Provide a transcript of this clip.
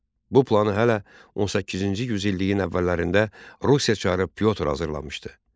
Bu planı hələ 18-ci yüz illiyin əvvəllərində Rusiya çarı Pyotr hazırlamışdı.